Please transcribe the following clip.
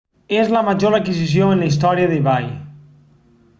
és la major adquisició en la història d'ebay